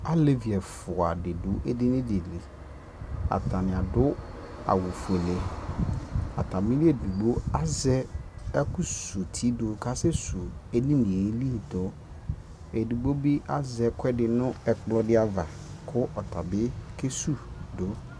alɛvi ɛƒʋa di dʋ ɛdini di li, atani adʋ awʋ ƒʋɛlɛ, atamili ɛdigbɔ azɛ ɛkʋ sʋ ʋti dʋ ka asɛ sʋ ɛdiniɛ li dʋ, ɛdigbɔ bi azɛ ɛkʋɛdi nʋ ɛkplɔ di aɣa kʋ ɔtabi kɛwʋ dʋ